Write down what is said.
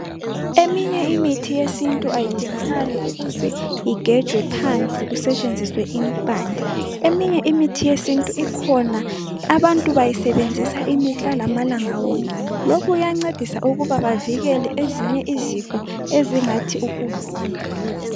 Eminye imithi yesintu ayidingakali ukuze igejwe phansi kusetshenziswe impande. Eminye imithi yesintu ikhona, abantu bayisebenzisa imihla lamalanga wonke .Lokhu kuyancedisa ukuba bavikele ezinye izifo ezingathi ukuvuka.